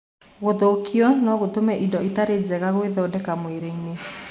Gũthũkio no gũtũme indo itarĩ njega gwĩthondeka mwĩrĩinĩ.